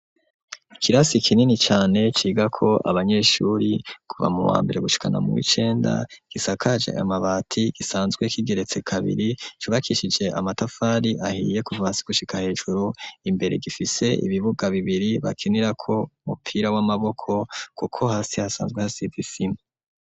Ikirasi kinini cane cigako abanyeshuri kuva mu wambere gushikana mu w'icenda gisakaje amabati gisanzwe k'igeretse kabiri cubakishije amatafari ahiye kuvasi gushika hejuru imbere gifise ibibuga bibiri bakinirako umupira w'amaboko kuko hasi hasanzwe hasize isima.